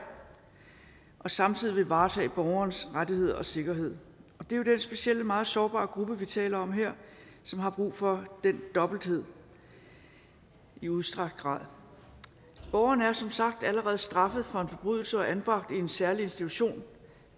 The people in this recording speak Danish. og samtidig vil varetage borgerens rettigheder og sikkerhed det er den specielle og meget sårbare gruppe vi taler om her som har brug for den dobbelthed i udstrakt grad borgeren er som sagt allerede straffet for en forbrydelse og anbragt på en særlig institution